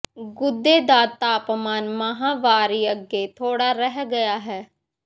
ਗੁਦੇ ਦਾ ਤਾਪਮਾਨ ਮਾਹਵਾਰੀ ਅੱਗੇ ਥੋੜ੍ਹਾ ਰਹਿ ਗਿਆ ਹੈ